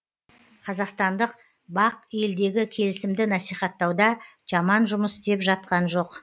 қазақстандық бақ елдегі келісімді насихаттауда жаман жұмыс істеп жатқан жоқ